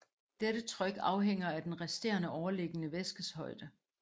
Dette tryk afhænger af den resterende overliggende væskes højde